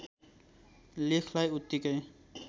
लेखलाई उतिकै